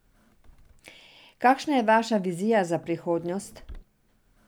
Kakšna je vaša vizija za prihodnost?